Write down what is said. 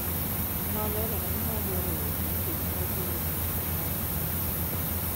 Nolerone ni nodwaro wuok nikech nogolo picha marach ne nyithinde